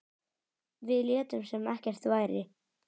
Við létum sem ekkert væri.